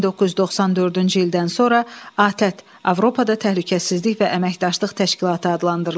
1994-cü ildən sonra ATƏT Avropada Təhlükəsizlik və Əməkdaşlıq Təşkilatı adlandırılıb.